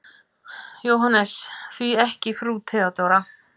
JÓHANNES: Því ekki frú Theodóra?